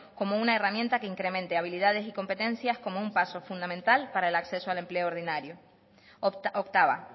como una herramienta que incremente habilidades y competencias como un paso fundamental para el acceso al empleo ordinario octava